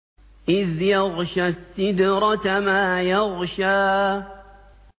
إِذْ يَغْشَى السِّدْرَةَ مَا يَغْشَىٰ